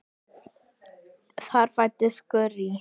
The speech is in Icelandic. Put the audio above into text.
Þar fæddist Gurrý.